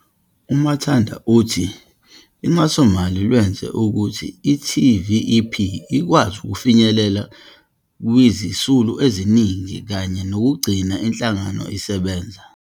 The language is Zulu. U-Manthada uthi uxhasomali lwenze ukuthi i-TVEP ikwazi ukufinyelela kwizisulu eziningi kanye nokugcina inhlangano isebenza.